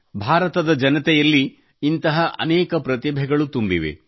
ಭಾರತ ಜನರಲ್ಲಿ ಇಂತಹ ಅನೇಕ ಪ್ರತಿಭೆಗಳು ತುಂಬಿವೆ